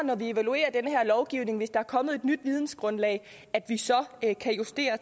når vi evaluerer den her lovgivning hvis der er kommet et nyt vidensgrundlag justere